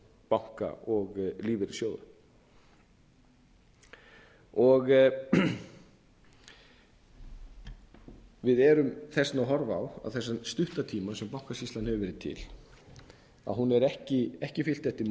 banka og lífeyrissjóða við erum þess vegna að horfa á á þessum stutta tíma sem bankasýslan hefur verið til að hún hefur ekki fylgt eftir